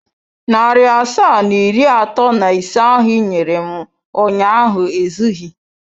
Narị asaa na iri atọ na ise ahụ i nyere m ụnyaahụ ezughị.